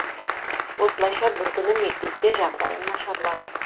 осылайша бір күні мектепте жағдайым нашарлады